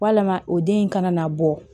Walama o den in kana na bɔ